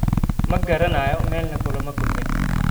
Ma garanayo, meelna kulama kulmin.